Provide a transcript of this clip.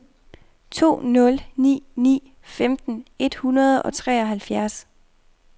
to nul ni ni femten et hundrede og treoghalvfjerds